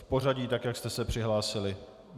V pořadí tak, jak jste se přihlásili.